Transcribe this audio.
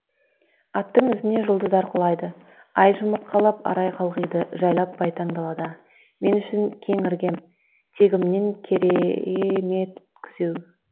аттың ізіне жұлдыздар құлайды ай жұмыртқалап арай қалғиды жайлап байтаң далада мен үшін кең іргем тегімнен кере е мет күзеу